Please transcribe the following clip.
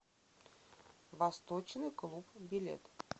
восточный клуб билет